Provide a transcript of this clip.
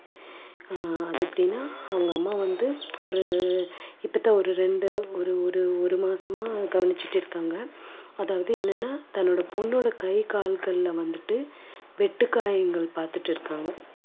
அஹ் அது எப்படின்னா அவங்க அம்மா வந்து ஒரு கிட்டத்தட்ட ஒரு ரெண்டு ஒரு ஒரு ஒரு மாசமா கவனிச்சிட்டு இருக்காங்க. அதாவது என்னன்னா தன்னோட பொண்ணோட கை கால்கள்ல வந்துட்டு வெட்டுக்காயங்கள் பாத்துட்டு இருக்காங்க